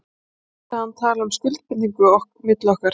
Og nú vildi hann tala um skuldbindingu milli okkar.